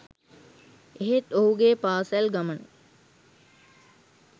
එහෙත් ඔහුගේ පාසැල් ගමන